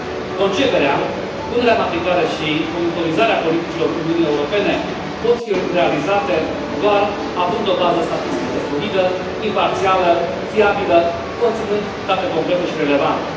Conceperea, punerea în aplicare și monitorizarea politicilor Uniunii Europene pot fi realizate doar având o bază statistică solidă, imparțială, fiabilă, conținând date concrete și relevante.